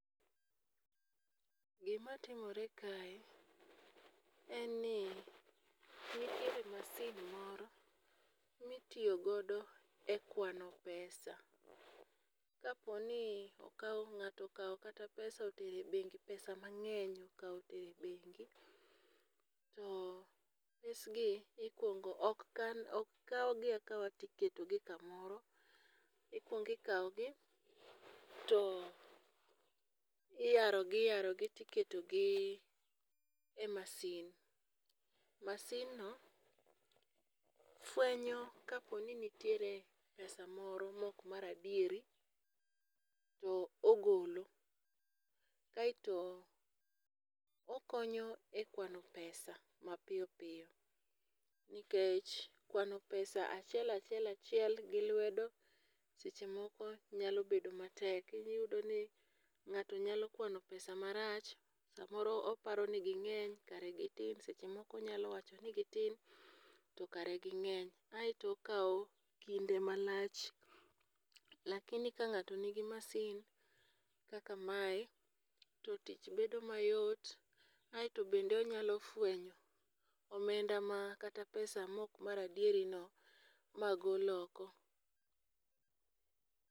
Gima timore kae en ni nitiere masin moro mitiyo godo e kwano pesa. Kapo ni okawo ng'ato okawo pesa otere bengi pesa mang'eny okawo otere bengi to pesgi ikwongo ok kan ok kawgi akawa tiketo gi kamoro. ikwong ikawo gi to iyaro iyaro gi tiketo gi e masin. Masin no fwenyo kapo ni nitiere pesa moro mok mar adieri to ogolo. Kaeto okonyo e kwano pesa mapiyo piyo nikech kwano pesa achiel achiel achiel gi lwedo seche moko nyalo bedo matek iyudo ni ng'ato nyalo kwano pesa marach. Samoro oparo ni ging'eny kare gitin seche moko onyalo wacho ni gitin to kare ging'eny . Aeto okawo kinde malach lakini ka ng'ato nigi masin kaka mae to tich bedo mayot aeto bende onyalo fwenyo omenda ma kata pesa mok mar adieri no magol oko.